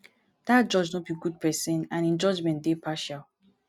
dat judge no be good person and im judgement dey partial